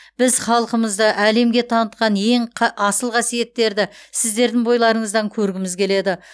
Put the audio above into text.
біз халқымызды әлемге танытқан ең қы асыл қасиеттерді сіздердің бойларыңыздан көргіміз келеді